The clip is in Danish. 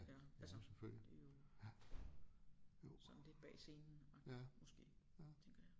Ja altså det jo sådan lidt bag scenen agtigt måske tænker jeg